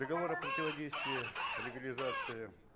договор о противодействии легализации